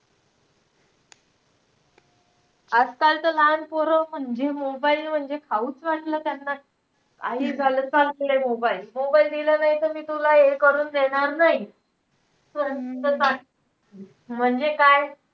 आजकाल तर ना लहान पोरं म्हणजे mobile म्हणजे, खाऊचं वाटलं त्यांना. काही झालं तर चालतोय mobile mobile दिला नाही, तर मी तुला हे करून देणार नाही म्हणजे काय?